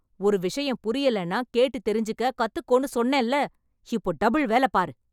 ஒரு விஷயம் புரியலன்னா கேட்டுத் தெரிஞ்சுக்க கத்துக்கோன்னு சொன்னேன்ல? இப்போ டபுள் வேலை, பாரு!